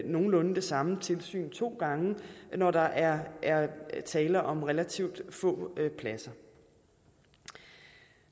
nogenlunde det samme tilsyn to gange når der er tale om relativt få pladser